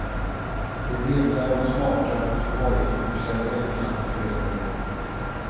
Det vimlar av smarta förvaringsboxar och ensamma föräldrar.